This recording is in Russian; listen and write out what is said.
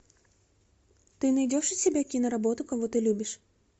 ты найдешь у себя киноработу кого ты любишь